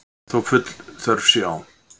Þó full þörf sé á.